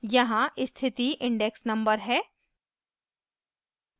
* यहाँ स्थिति index number है